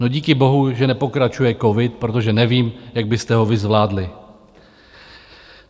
No, díky bohu, že nepokračuje covid, protože nevím, jak byste ho vy zvládli.